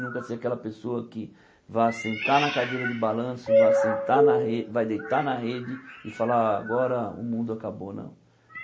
Nunca ser aquela pessoa que vá sentar na cadeira de balanço, vá sentar na re vá deitar na rede e falar, agora o mundo acabou, não.